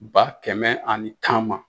Ba kɛmɛ ani tan ma.